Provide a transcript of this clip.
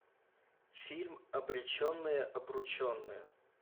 фильм обреченные обрученные